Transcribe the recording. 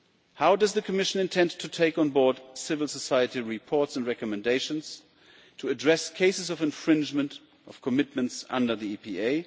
How does the Commission intend to take on board civil society reports and recommendations to address cases of infringement of commitments under the EPA?